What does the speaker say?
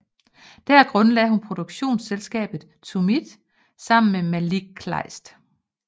Der grundlagde hun produktionsselskabet Tumit sammen med Malik Kleist